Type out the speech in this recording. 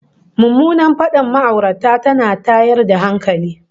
Mummunar fadar ma'aurata tana da tayar da hankali